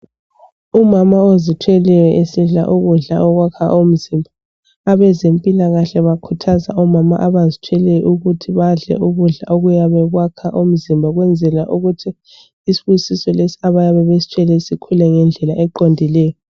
Umama ozithweleyo esidla ukudla okwakha umzimba abezempilakahle bakhuthaza omama abazithweleyo ukuthi badle ukudla okwakha umzimba ukwenzela ukuthi isibusiso lesi abayabe besithwele sikhule ngendlela eqondileyo.